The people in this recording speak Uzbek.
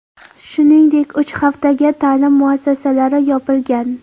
Shuningdek, uch haftaga ta’lim muassasalari yopilgan.